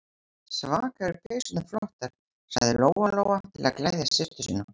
Svaka eru peysurnar flottar, sagði Lóa-Lóa til að gleðja systur sína.